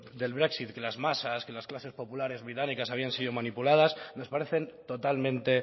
del brexit que las masas que las clases populares británicas habían sido manipuladas nos parecen totalmente